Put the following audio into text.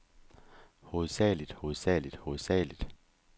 hovedsageligt hovedsageligt hovedsageligt